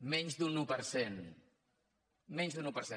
menys d’un un per cent menys d’un un per cent